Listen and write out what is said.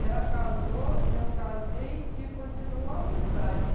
Ela casou, eu casei e continuou a amizade.